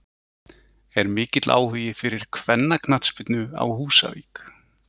Er mikill áhugi fyrir kvennaknattspyrnu á Húsavík?